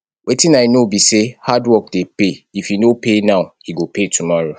wetin i no be say hardwork dey pay if e no pay now e go pay tomorrow